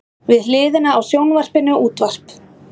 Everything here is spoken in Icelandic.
Við hliðina á sjónvarpinu útvarp.